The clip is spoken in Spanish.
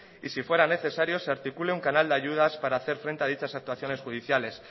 y si fuera necesario se articule un canal de ayudas para hacer frente a dichas actuaciones judiciales